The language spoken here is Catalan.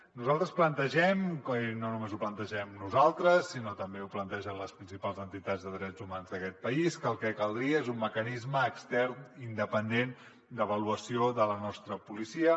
nosaltres plantegem i no només ho plantegem nosaltres sinó que també ho plantegen les principals entitats de drets humans d’aquest país que el que caldria és un mecanisme extern independent d’avaluació de la nostra policia